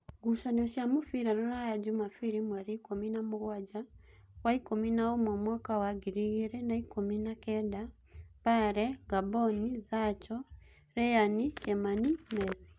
Ngucanio cia mũbira Ruraya Jumabiri mweri ikũmi na mũgwanja waikũmi na ũmwe mwaka wa ngiri igĩrĩ na ikũmi na kenda: Mbare, Ngamboni, Zacho, Lyian, Kĩmani, Mesi